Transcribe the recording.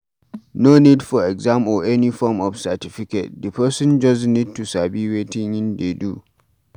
No need for exam or any form of certificate, di person just need to sabi wetin im de do